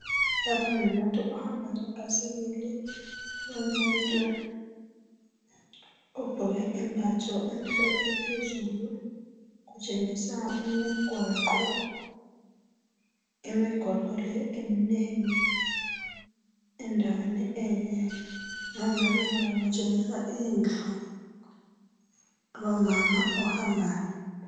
Longumuntu ohamba ngebhasikili lomuntu phezulu ugqoke yembe emhlophe kutshengisa imigwaqo le minengi endaweni emgale kwakhe kutshengisa indlu lomama ohambayo